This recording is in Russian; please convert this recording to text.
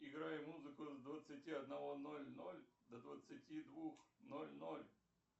играй музыку с двадцати одного ноль ноль до двадцати двух ноль ноль